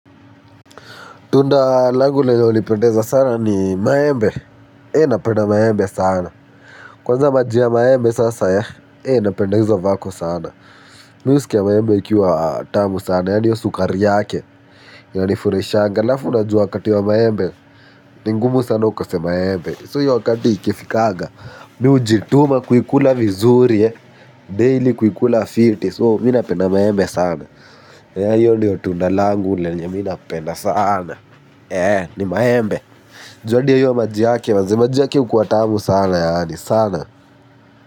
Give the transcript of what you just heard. Tunda langu lenye unipendeza sana ni maembe. Napenda maembe sana. Kwanza maji ya maembe sasa. Napende izo a vako sana. Mi uskia maembe ikiwa tamu sana. Yani hio sukari yake. Inanifuraishanga. Alafu unajua wakati wa maembe. Ni ngumu sana ukose maembe. So hio wakati ikifikaga. Mi ujituma kuikula vizuri. Daily kuikula fiti. So mi napenda maembe sana. Hio ndiyo tunda langu lenye mi napenda sana. Eeh ni maembe. Juu adi ya hio maji yake maze maji yake ukua tamu sana yani sana.